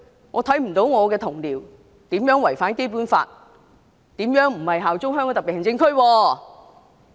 我看不到我的同僚如何違反《基本法》，如何不效忠香港特別行政區？